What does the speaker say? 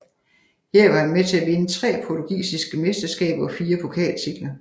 Her var han med til at vinde tre portugisiske mesterskaber og fire pokaltitler